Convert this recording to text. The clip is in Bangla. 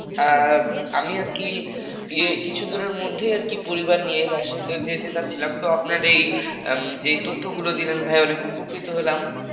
আহ আমি আর কি যে কিছুদিনের মধ্যেই পরিবার নিয়ে রাজশাহীতে যেতে চাচ্ছিলাম তো আপনার এইযে তথ্যগুলো দিলেন ভাইয়া অনেক উপকৃত হলাম হলাম